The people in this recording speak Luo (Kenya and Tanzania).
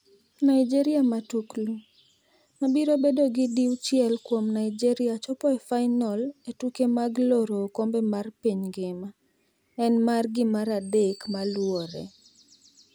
Nigeria Matuklu: Ma biro bedo gi diuchiel kuom Naijeria chopo e fainol e tuke mag laro okombe mar piny ngima, en margi maradek maluore.